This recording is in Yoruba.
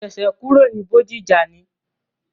Mo ṣẹ̀ṣẹ̀ kúrò ní Bódìjà ni.